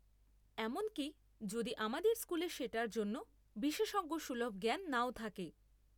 এমনকি যদি আমাদের স্কুলে সেটার জন্য বিশেষজ্ঞসুলভ জ্ঞান নাও থাকে।